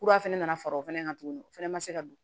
Kura fɛnɛ nana fara o fɛnɛ kan tuguni o fɛnɛ ma se ka don